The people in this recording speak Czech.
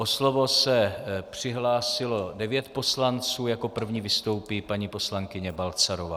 O slovo se přihlásilo devět poslanců, jako první vystoupí paní poslankyně Balcarová.